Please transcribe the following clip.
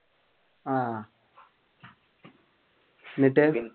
ആഹ് എന്നിട്ട്